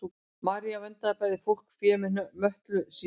maría verndaði bæði fólk og fé með möttli sínum